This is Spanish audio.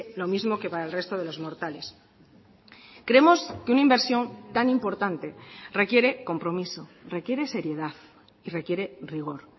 lo mismo que para el resto de los mortales creemos que una inversión tan importante requiere compromiso requiere seriedad y requiere rigor